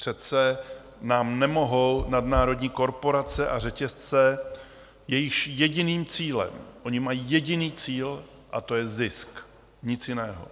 Přece nám nemohou nadnárodní korporace a řetězce, jejichž jediným cílem - oni mají jediný cíl, a to je zisk, nic jiného,